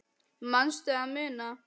Manstu að muna?